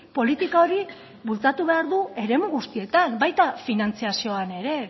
politika hori bultzatu behar du eremu guztietan baita finantzazioan ere